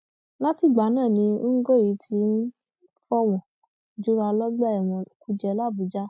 látìgbà náà ni ngoe ti ń fọwọn jura lọgbà ẹwọn kújẹ làbújá